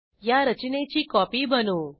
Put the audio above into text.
या रचनेची कॉपी बनवू